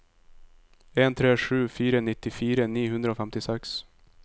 en tre sju fire nittifire ni hundre og femtiseks